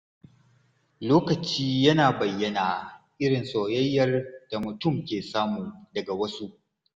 Lokaci yana bayyana irin soyayyar da mutum ke samu daga wasu.